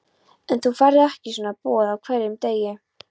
En þú færð ekki svona boð á hverjum degi.